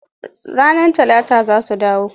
Ranar Talata za su dawo.